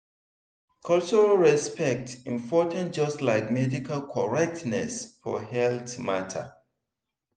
cultural respect important just like medical correctness for health matter.